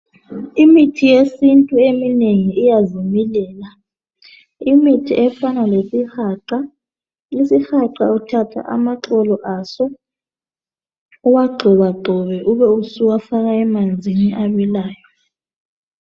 Imithi yesintu eminengi iyazimilela ,imithi efana lesihaqa. Isihaqa uthatha amaxolo aso uwagxobegxobe ube usuwafaka emanzini abilayo.